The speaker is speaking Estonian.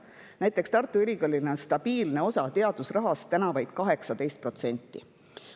Näiteks on Tartu Ülikoolil teadusrahast praegu vaid 18%.